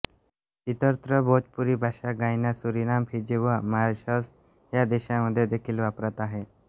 इतरत्र भोजपुरी भाषा Guyana Suriname Fiji व मॉरिशस ह्या देशांमध्ये देखील वापरात आहे